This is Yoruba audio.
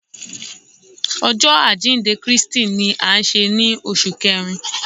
Ọjọ ajinde Kristi ni a nṣe ni oṣu Kẹrin